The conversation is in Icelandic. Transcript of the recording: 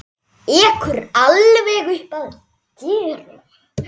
Ekur alveg upp að dyrum.